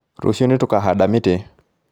Rũciũ nĩtũkahanda mĩtĩ